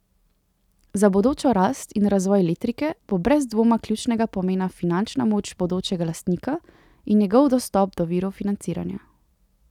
Za bodočo rast in razvoj Letrike bo brez dvoma ključnega pomena finančna moč bodočega lastnika in njegov dostop do virov financiranja.